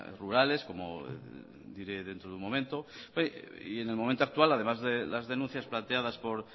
rurales como diré dentro de un momento y en el momento actual además de las denuncias planteadas por